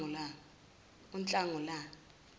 unhlangulane